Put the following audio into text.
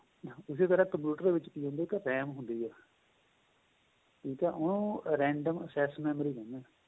ਇਸੇ ਤਰ੍ਹਾਂ computer ਦੇ ਵਿੱਚ RAM ਹੁੰਦੀ ਏ ਠੀਕ ਏ ਉਹਨੂੰ random access memory ਕਹਿਣੇ ਹਾਂ